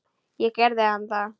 Og gerði hann það?